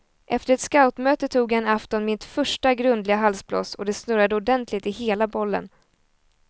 Efter ett scoutmöte tog jag en afton mitt första grundliga halsbloss och det snurrade ordentligt i hela bollen.